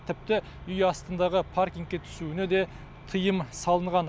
тіпті үй астындағы паркингке түсуіне де тыйым салынған